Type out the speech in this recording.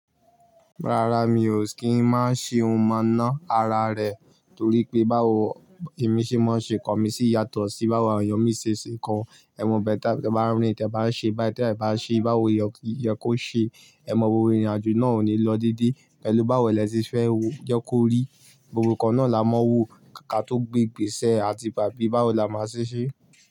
Rárá, mi ò kí ń má ṣe ohun mọ̀nà ara rẹ torí pé báwo. Bi emi ṣe máa ṣe kan mi sì yàtọ̀ sí báwo ènìyàn mi ṣe ṣe kan. Ẹmu bẹ́ẹ̀ dá, tí ẹ bá rìn, tí ẹ bá ṣe báyìí, tí ẹ bá ṣe báwo yan kó ṣe, ẹ mọ gbogbo ìrìnàjò náà ò ní lọ dídí. Pẹ̀lú báwo ẹ lè ṣe fẹ́ jẹ́ kó rí, gbogbo nǹkan náà la máa wù, káà tó gbigbèsè àti ìpà bí báwo la máa ṣe ṣe.